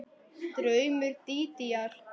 Draumur Dídíar